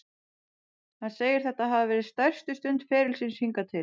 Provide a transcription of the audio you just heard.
Hann segir þetta hafa verið stærstu stund ferils síns hingað til.